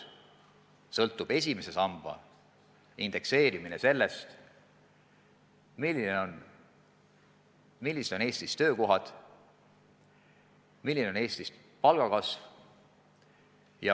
Esimese samba indekseerimine sõltub sellest, millised on Eestis töökohad, milline on Eestis palgakasv.